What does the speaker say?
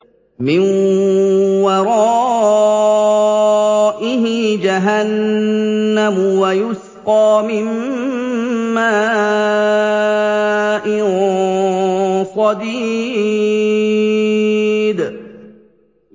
مِّن وَرَائِهِ جَهَنَّمُ وَيُسْقَىٰ مِن مَّاءٍ صَدِيدٍ